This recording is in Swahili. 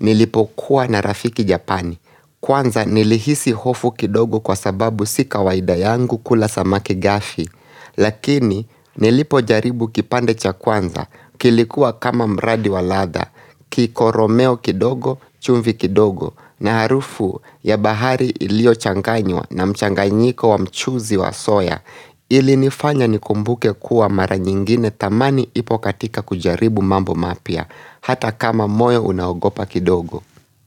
nilipokuwa na rafiki japani, kwanza nilihisi hofu kidogo kwa sababu sika waida yangu kula samaki gafi, lakini nilipo jaribu kipande cha kwanza, kilikuwa kama mradi waladha, kiko romeo kidogo, chumvi kidogo, na harufu ya bahari ilio changanywa na mchanganyiko wa mchuzi wa soya, ili nifanya ni kumbuke kuwa mara nyingine thamani ipokatika kujaribu mambo mapya Hata kama moyo unaogopa kidogo.